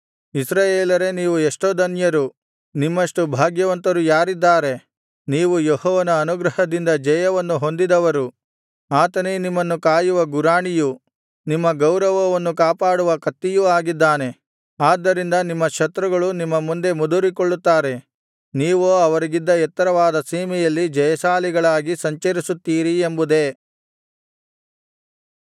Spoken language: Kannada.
ಇಸ್ರಾಯೇಲರೇ ನೀವು ಎಷ್ಟೋ ಧನ್ಯರು ನಿಮ್ಮಷ್ಟು ಭಾಗ್ಯವಂತರು ಯಾರಿದ್ದಾರೆ ನೀವು ಯೆಹೋವನ ಅನುಗ್ರಹದಿಂದ ಜಯವನ್ನು ಹೊಂದಿದವರು ಆತನೇ ನಿಮ್ಮನ್ನು ಕಾಯುವ ಗುರಾಣಿಯು ನಿಮ್ಮ ಗೌರವವನ್ನು ಕಾಪಾಡುವ ಕತ್ತಿಯೂ ಆಗಿದ್ದಾನೆ ಆದ್ದರಿಂದ ನಿಮ್ಮ ಶತ್ರುಗಳು ನಿಮ್ಮ ಮುಂದೆ ಮುದುರಿಕೊಳ್ಳುತ್ತಾರೆ ನೀವೋ ಅವರಿಗಿದ್ದ ಎತ್ತರವಾದ ಸೀಮೆಯಲ್ಲಿ ಜಯಶಾಲಿಗಳಾಗಿ ಸಂಚರಿಸುತ್ತೀರಿ ಎಂಬುದೇ